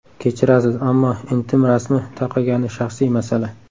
Kechirasiz, ammo intim rasmi tarqagani shaxsiy masala.